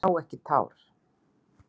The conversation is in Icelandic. Ég sá ekki tár.